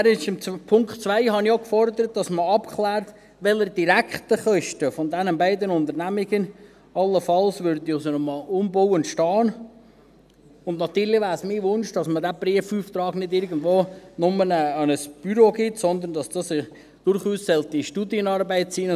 Im Punkt 2 habe ich auch gefordert, dass man abklärt, welche direkten Kosten diesen beiden Unternehmungen allenfalls aus einem Umbau entstehen würden, und natürlich wäre es mein Wunsch, dass man diesen Prüfauftrag nicht nur irgendwo an ein Büro gibt, sondern dass dies durchaus eine Studienarbeit sein sollte.